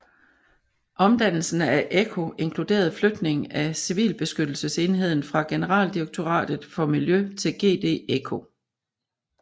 Omdannelsen af ECHO inkluderede flytning af civilbeskyttelsesenheden fra Generaldirektoratet for Miljø til GD ECHO